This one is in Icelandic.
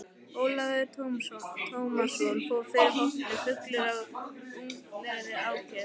Ólafur Tómasson fór fyrir hópnum fullur af ungæðislegri ákefð.